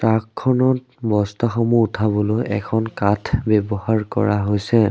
আগখনত বস্তা সমূহ উঠাবলৈ এখন কাঠ ব্যৱহাৰ কৰা হৈছে।